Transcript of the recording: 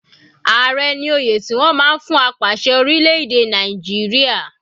Ààrẹ ní oyè tí wọ́n máa ń fún apàṣẹ orílẹ̀-èdè Nàìjíríà.